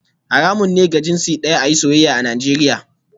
Haramun ne ga jinsi daya a yi soyayya a Najeriya